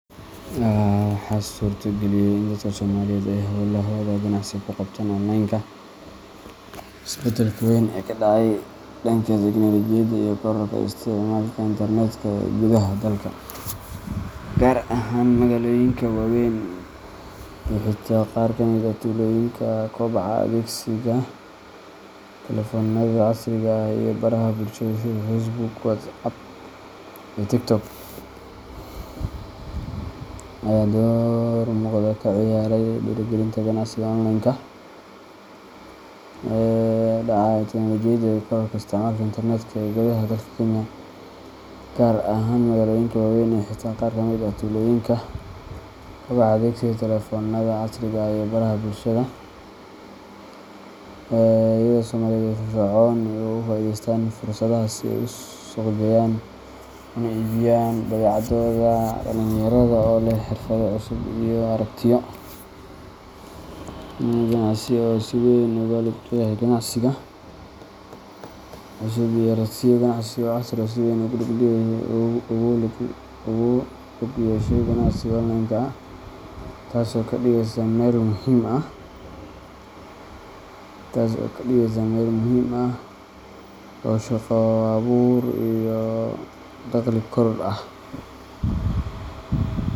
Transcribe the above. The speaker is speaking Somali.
Waxaa suurto geliyey in dadka Soomaaliyeed ay howlahooda ganacsi ku qabtaan online-ka isbeddelka weyn ee ka dhacay dhanka teknoolojiyadda iyo kororka isticmaalka internet-ka ee gudaha dalka, gaar ahaan magaalooyinka waaweyn iyo xitaa qaar ka mid ah tuulooyinka. Kobaca adeegsiga taleefoonada casriga ah iyo baraha bulshada sida Facebook, WhatsApp, iyo TikTok ayaa door muuqda ka ciyaaray dhiirrigelinta ganacsiga online-ka, iyadoo dadka Soomaaliyeed ay si firfircoon uga faa’iideysteen fursadahaas si ay u suuqgeeyaan una iibiyaan badeecadahooda. Dhalinyarada oo leh xirfado cusub iyo aragtiyo ganacsi oo casri ah ayaa si weyn ugu lug yeeshay ganacsiga online-ka, taas oo ka dhigaysa meel muhiim ah oo shaqo abuur iyo dakhli korodh ah.